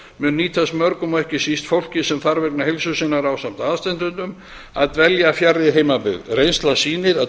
mun nýtast mörgum og ekki síst fólki sem þarf vegna heilsu sinnar ásamt aðstandendum að dvelja fjarri heimabyggð reynslan sýnir að